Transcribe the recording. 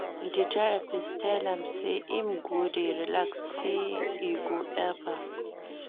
Di therapist tell am sey im go dey relax, sey e go help am.